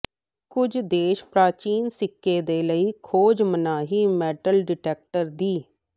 ਕੁਝ ਦੇਸ਼ ਪ੍ਰਾਚੀਨ ਸਿੱਕੇ ਦੇ ਲਈ ਖੋਜ ਮਨਾਹੀ ਮੈਟਲ ਡਿਟੈਕਟਰ ਦੀ